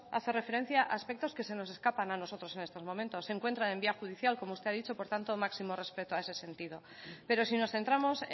hace referencia a aspectos que se nos escapan a nosotros en estos momentos se encuentra en vía judicial como usted ha dicho por tanto máximo respeto a ese sentido pero si nos centramos